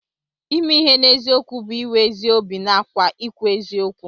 Ime ihe n'eziokwu bụ iwe ezi obi nàkwà ikwu eziokwu